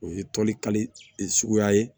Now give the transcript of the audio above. O ye tɔnni suguya ye